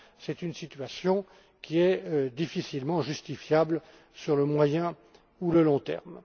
C'est une situation qui est difficilement justifiable sur le moyen ou le long terme.